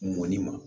Mɔni ma